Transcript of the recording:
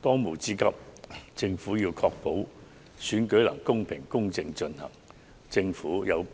當務之急，政府確保選舉能公平、公正進行，